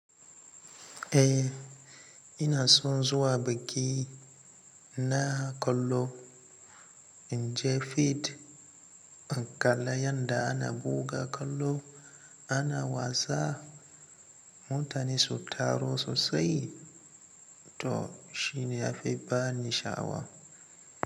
Eh, ina son zuwa bakki na kallo in je fit, ban kala yadda ana buga kallo ana wasa. Mutane su taro sosai to shine ya fi bani sha'awa.